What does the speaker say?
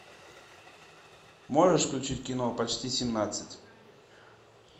можешь включить кино почти семнадцать